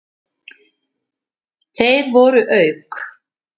Þeir voru auk